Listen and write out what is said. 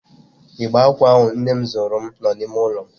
Igbe akwa ahụ nnem zụụrum nọ n'ime ụlọ m.